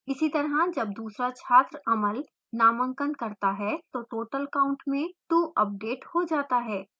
इसीतरह जब दूसरा छात्र amal नामांकन करता है तो total count में 2 अपडेट हो जाता है